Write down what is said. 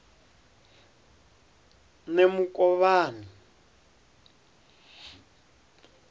nemukovhani